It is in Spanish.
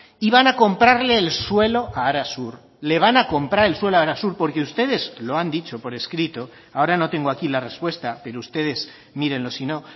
y van a comprarle el suelo a arasur le van a comprar el suelo a arasur porque ustedes lo han dicho por escrito ahora no tengo aquí la respuesta pero ustedes mírenlo si no